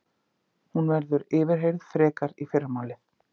Hún verður yfirheyrð frekar í fyrramálið